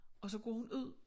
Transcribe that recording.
Og så går hun ud